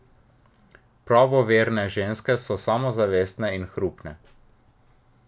Pravoverne ženske so samozavestne in hrupne.